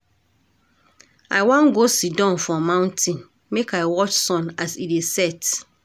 I wan go siddon for mountain make I watch sun as e dey set.